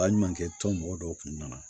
Baɲumankɛ tɔn mɔgɔ dɔw kun nana